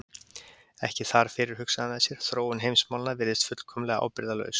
Ekki þar fyrir, hugsaði hann með sér, þróun heimsmálanna virðist fullkomlega ábyrgðarlaus.